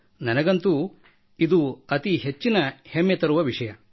ನನಗಂತೂ ಇದು ಅತಿ ಹೆಮ್ಮೆ ತರುವ ವಿಷಯ